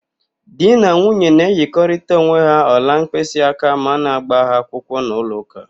Di na nwunye na-enyerịkọta onwe ha ọla mkpịsịaka ma a na-ágbà ha akwụkwọ n'ụlọụka